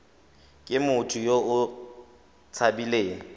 ke motho yo o tshabileng